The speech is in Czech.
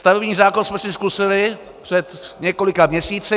Stavební zákon jsme si zkusili před několika měsíci.